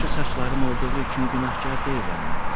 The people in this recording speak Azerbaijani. Yaxşı saçlarım olduğu üçün günahkar deyiləm, madam.